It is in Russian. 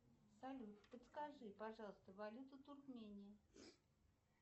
салют подскажи пожалуйста валюту туркмении